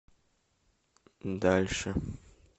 дальше